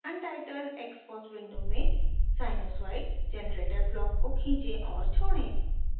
untitled xcos window में sinusoid generator block को खींचें और छोड़ें